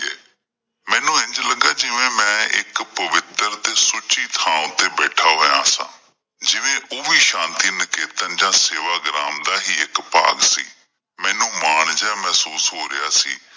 ਮੈਨੂੰ ਇੰਝ ਲੱਗਾ ਜਿਵੇਂ ਮੈਂ ਇੱਕ ਪਵਿੱਤਰ ਤੇ ਸੁੱਚੀ ਥਾਂ ਉੱਤੇ ਬੈਠਾ ਹੋਇਆ ਸੀ ਜਿਵੇਂ ਓਹ ਵੀ ਸ਼ਾਂਤੀ ਨਿਕੇਤਨ ਜਾ ਸੇਵਾ ਗ੍ਰਾਮ ਦਾ ਹੀ ਇੱਕ ਭਾਗ ਸੀ ਮੈਨੂੰ ਮਾਨ ਜਿਹਾ ਮਹਿਸੂਸ ਹੋ ਰਿਹਾ ਸੀ।